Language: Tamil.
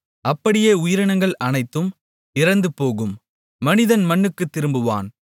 அப்படியே உயிரினங்கள் அனைத்தும் இறந்துபோகும் மனிதன் மண்ணுக்குத் திரும்புவான்